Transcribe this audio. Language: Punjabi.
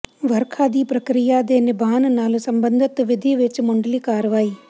ਵਰਖਾ ਦੀ ਪ੍ਰਕਿਰਿਆ ਦੇ ਬਿਆਨ ਨਾਲ ਸਬੰਧਤ ਵਿਧੀ ਵਿਚ ਮੁੱਢਲੀ ਕਾਰਵਾਈ